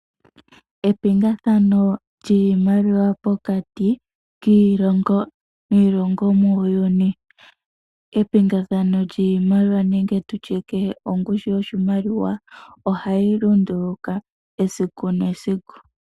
Epingathano lyiimaliwa pokati kiilongo niilongo muuyuni ,epingathano nenge tutye ongushu yiimaliwa ohayi lunduluka esiku nesiku.